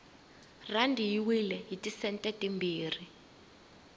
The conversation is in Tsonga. rhandi yi wile hiti sente timbirhi